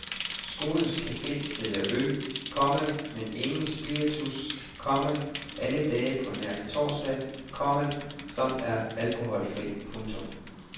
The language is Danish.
Skolens cafe sælger øl, komma men ingen spiritus, komma alle dage på nær torsdag, komma som er alkoholfri. punktum